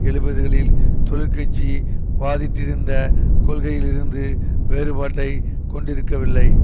எழுபதுகளில் தொழிற் கட்சி வாதிட்டிருந்த கொள்கையில் இருந்து வேறுபாட்டைக் கொண்டிருக்கவில்லை